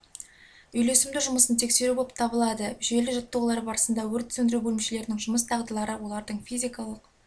үйлесімді жұмысын тексеру болып табылады жүйелі жаттығулар барысында өрт сөндіру бөлімшелерінің жұмыс дағдылары олардың физикалық